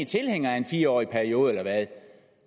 tilhænger af en fire årig periode